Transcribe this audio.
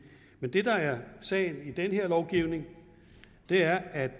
men det der er sagen i den her lovgivning er at